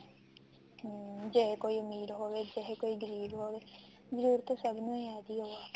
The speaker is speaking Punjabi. ਹਮ ਜੇ ਕੋਈ ਅਮੀਰ ਜੇ ਕੋਈ ਗਰੀਬ ਹੋਵੇ ਜਰੂਰਤ ਸਭ ਨੂੰ ਹੀ ਇਹਦੀ